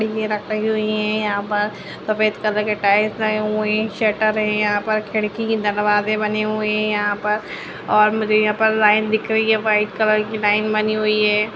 ये रखी हुई हैं यहाँ पर सफेद कलर के टाइल्स लगे हुए हैं शरट है यहाँ पर खिड़की-दरवाजे बने हुए हैं यहाँ पर और मुझे यहाँ पर लाइन दिख रही है वाइट कलर की लाइन बनी हुई है।